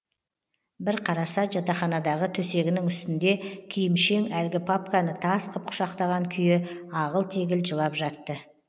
бір қараса жатақханадағы төсегінің үстінде киімшең әлгі папканы тас қып құшақтаған күйі ағыл тегіл жылап жатты